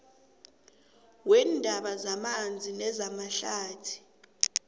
weendaba zamanzi nezamahlathi